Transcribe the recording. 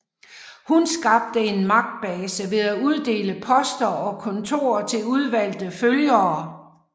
Hun skabte en magtbase ved at uddele poster og kontorer til udvalgte følgere